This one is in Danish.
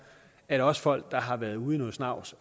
at også folk der har været ude i noget snavs